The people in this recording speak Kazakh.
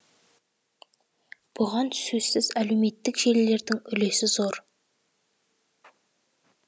бұған сөзсіз әлеуметтік желілердің үлесі зор